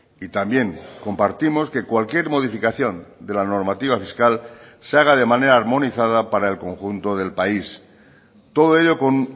y también compartimos que cualquier modificación de la normativa fiscal se haga de manera armonizada para el conjunto del país todo ello con